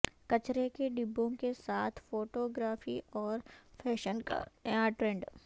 کچرے کے ڈبوں کے ساتھ فوٹو گرافی اور فیشن کا نیا ٹرینڈ